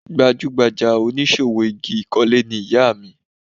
Gbajúgbajà oníṣòwò igi ìkọ́lé ni ìyá mi